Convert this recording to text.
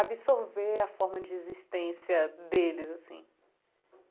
absorver a forma de existência deles, assim.